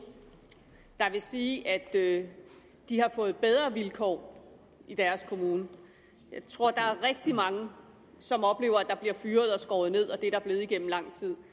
der vil sige at de har fået bedre vilkår i deres kommune jeg tror der er rigtig mange som oplever at der bliver fyret og skåret ned og det er der blevet igennem lang tid